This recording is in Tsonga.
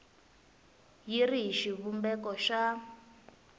yi ri hi xivumbeko xa